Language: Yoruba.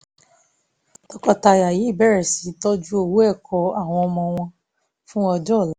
tọkọtaya yìí bẹ̀rẹ̀ sí í tọ́jú owó ẹ̀kọ́ àwọn ọmọ wọn fún ọjọ́ ọ̀la